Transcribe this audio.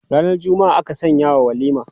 Ranar Juma'a aka sanyawa walima.